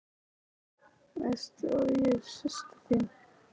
Veistu að ég er systir þín.